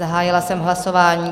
Zahájila jsem hlasování.